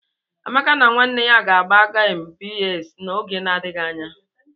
Amaka na nwanne ya ga- agba gemu PS n'oge na-adịghị anya.